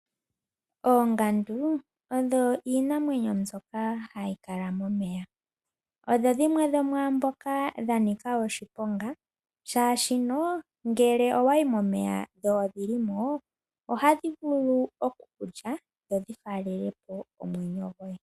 Oongandu odho iinamwenyo mbyoka hayi kala momeya. Odho dhimwe dho mwamboka dhanika oshiponga shashi no ngele owayi momeya dho odhilimo ohadhi vulu okukulya dho dhifalele wo omwenyo goye.